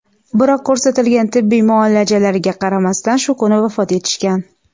biroq ko‘rsatilgan tibbiy muolajalariga qaramasdan shu kuni vafot etishgan.